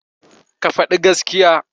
Ka faɗi gaskiya.